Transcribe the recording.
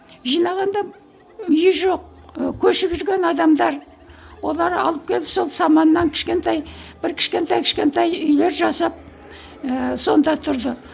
жинағанда үйі жоқ ы көшіп жүрген адамдар олар алып келді сол саманнан кішкентай бір кішкентай кішкентай үйлер жасап ыыы сонда тұрды